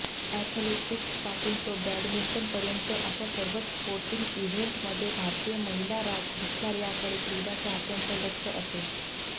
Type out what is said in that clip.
अॅथलेटीक्सपासून ते बॅडमिंटनपर्यंत अशा सर्वच स्पोर्टिंग इव्हेंटमध्ये भारतीय महिलाराज दिसणार याकडे क्रीडा चाहत्यांचा लक्ष असेल